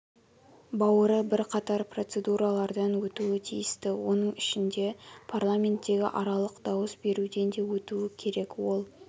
бауыры бірқатар процедуралардан өтуі тиісті оның ішінде парламенттегі аралық дауыс беруден де өтуі керек ол